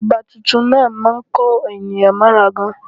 Ọba tuntun náà má a ń kó ènìyàn mọ́ra gan